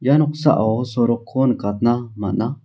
ia noksao sorokko nikatna man·a.